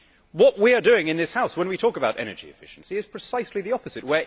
What we are doing in this House when we talk about energy efficiency is precisely the opposite.